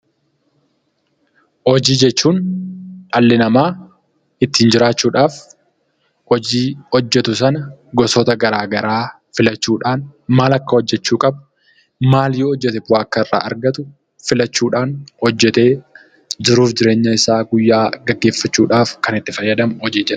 Hojii jechuun dhalli itti jiraachuudhaaf hojii hojjetu sana gosoota garaa garaa filachuudhaan maal hojjechuu akka qabu maal yoo hojjete maal irraa akka argatu filachuudhaan hojjetee jiruu fi jireenya guyyaa isaa gaggeeffachuudhaaf kan itti fayyadamu hojii jedhama.